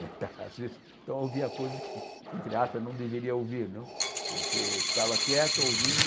Então ás vezes então, eu ouvia coisas que, entre aspas, não deveria ouvir viu, porque ficava quieto ouvindo,